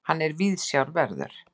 Hann er viðsjárverður.